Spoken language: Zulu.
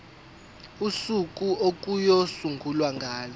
usuku okuyosungulwa ngalo